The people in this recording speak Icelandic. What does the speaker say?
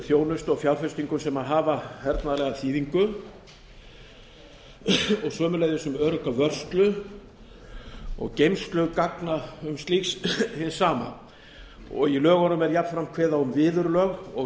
þjónustu og fjárfestingu sem hafa hernaðarlega þýðingu og sömuleiðis um örugga vörslu og geymslu gagna og slík hins sama í lögunum er jafnframt kveðið á um viðurlög og